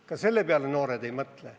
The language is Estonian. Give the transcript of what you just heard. Ka selle peale noored ei mõtle.